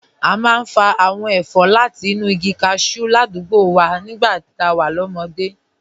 A máa ń fa àwọn ẹ̀fọ́ láti inú igi cashew aládùúgbò wa nígbà tá a wà lọ́mọdé